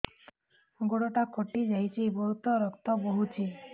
ଗୋଡ଼ଟା କଟି ଯାଇଛି ବହୁତ ରକ୍ତ ବହୁଛି